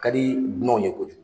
Ka di dumanw ye kojugu.